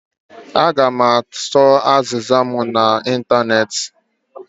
Aga m achọ azịza mụ na ịntanetị